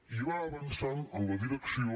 i va avançant en la direcció